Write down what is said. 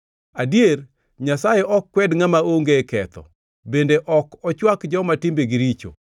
“Adier, Nyasaye ok kwed ngʼama onge ketho, bende ok ochwak joma timbegi richo.